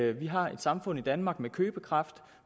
at vi har et samfund i danmark med købekraft